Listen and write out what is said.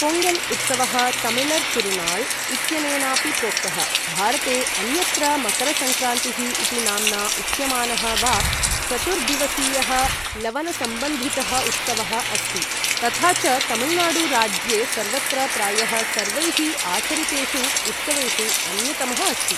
पोङ्गल् उत्सवः तमिळर् तिरुणाल् इत्यनेनापि प्रोक्तः, भारते अन्यत्र मकरसङ्क्रान्तिः इति नाम्ना उच्यमानः वा, चतुर्दिवसीयः लवनसम्बन्धितः उत्सवः अस्ति, तथा च तमिळुनाडु राज्ये सर्वत्र प्रायः सर्वैः आचरितेषु उत्सवेषु अन्यतमः अस्ति।